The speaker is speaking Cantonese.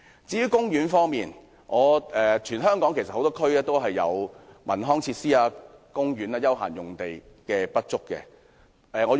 至於公園，全港多個地區也有文康設施、公園和休閒用地不足的情況。